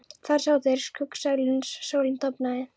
Þar sátu þeir í skuggsælu uns sólin dofnaði.